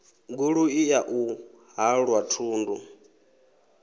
goloi ya u halwa thundu